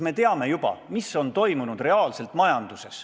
Me teame, mis on majanduses tegelikult toimunud.